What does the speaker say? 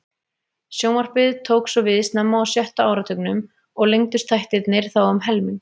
Sjónvarpið tók svo við snemma á sjötta áratugnum og lengdust þættirnir þá um helming.